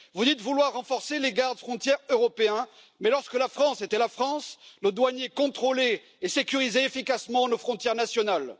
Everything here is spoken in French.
Vous dites vouloir renforcer les garde frontières européens, mais lorsque la France était la France, le douanier contrôlait et sécurisait efficacement nos frontières nationales.